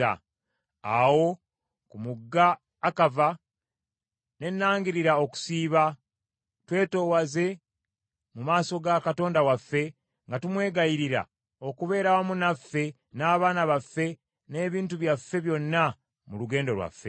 Awo ku mugga Akava, ne nangirira okusiiba, twetoowaze mu maaso ga Katonda waffe, nga tumwegayirira okubeera awamu naffe n’abaana baffe n’ebintu byaffe byonna mu lugendo lwaffe.